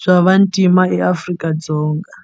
bya vantima eAfrika-Dzonga.